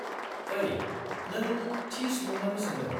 -ओइ, नों थि सुबुंनावनो सोंदों।